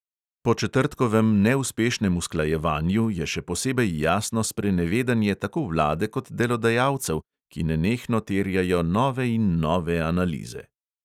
Po četrtkovem neuspešnem usklajevanju je še posebej jasno sprenevedanje tako vlade kot delodajalcev, ki nenehno terjajo nove in nove analize.